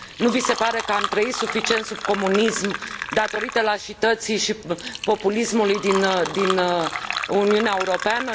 Nu vi se pare că am trăit suficient sub comunism, datorită lașității și populismului din Uniunea Europeană?